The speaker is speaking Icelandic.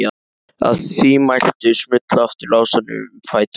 Að því mæltu smullu aftur lásarnir um fætur hans.